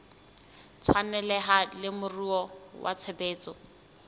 tshwaneleha le moruo wa tshebetso